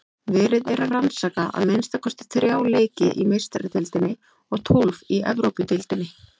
Verið er að rannsaka að minnsta kosti þrjá leiki í Meistaradeildinni og tólf í Evrópudeildinni.